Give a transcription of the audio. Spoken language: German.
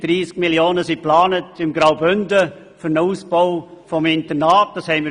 Weitere 30 Mio. Franken sind im Kanton Graubünden für den Ausbau des Internats geplant.